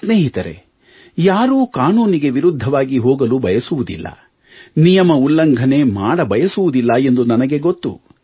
ಸ್ನೇಹಿತರೇ ಯಾರೂ ಕಾನೂನಿಗೆ ವಿರುದ್ಧವಾಗಿ ಹೋಗಲು ಬಯಸುವುದಿಲ್ಲ ನಿಯಮ ಉಲ್ಲಂಘನೆ ಮಾಡಬಯಸುವುದಿಲ್ಲ ಎಂದು ನನಗೆ ಗೊತ್ತು